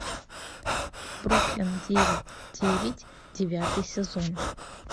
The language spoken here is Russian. бруклин девять девять девятый сезон